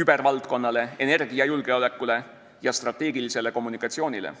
kübervaldkonnale, energiajulgeolekule ja strateegilisele kommunikatsioonile.